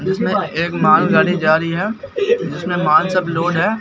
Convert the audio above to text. एक मालगाड़ी जा रही है जिसमें माल सब लोड है।